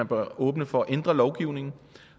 bør åbne for at ændre lovgivningen